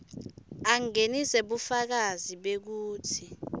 angenise bufakazi bekutsi